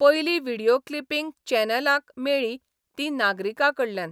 पयलीं video clipping चॅनलांक मेळ्ळीं तीं नागरिकांकडल्यान.